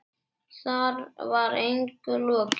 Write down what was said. Þar var engu logið.